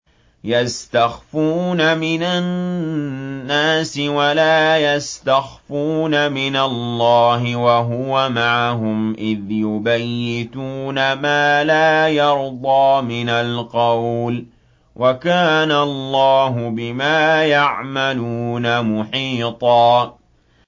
يَسْتَخْفُونَ مِنَ النَّاسِ وَلَا يَسْتَخْفُونَ مِنَ اللَّهِ وَهُوَ مَعَهُمْ إِذْ يُبَيِّتُونَ مَا لَا يَرْضَىٰ مِنَ الْقَوْلِ ۚ وَكَانَ اللَّهُ بِمَا يَعْمَلُونَ مُحِيطًا